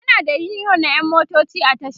ana da uniyon na ƴan motoci a tasha